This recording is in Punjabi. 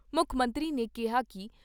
ਮੁੱਖ ਮੰਤਰੀ ਨੇ ਕਿਹਾ ਕਿ ਡਾਕਟਰ